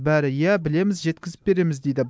бәрі иә білеміз жеткізіп береміз дейді